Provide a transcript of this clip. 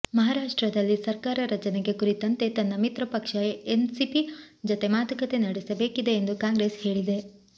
ಮಹಾರಾಷ್ಟ್ರದಲ್ಲಿ ಸರ್ಕಾರ ರಚನೆಗೆ ಕುರಿತಂತೆ ತನ್ನ ಮಿತ್ರಪಕ್ಷ ಎನ್ಸಿಪಿ ಜತೆ ಮಾತುಕತೆ ನಡೆಸಬೇಕಿದೆ ಎಂದು ಕಾಂಗ್ರೆಸ್ ಹೇಳಿದೆ